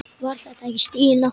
Var þetta ekki Stína?